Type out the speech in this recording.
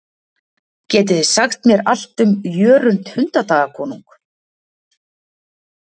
geti þið sagt mér allt um jörund hundadagakonung